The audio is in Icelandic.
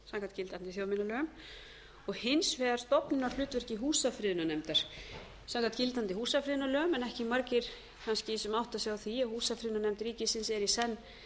samkvæmt gildandi þjóðminjalögum og hins vegar stofnunarhlutverki húsafriðunarnefndar samkvæmt gildandi húsafriðunarlögum en ekki margir kannski sem átta sig á því að húsafriðunarnefnd ríkisins er í senn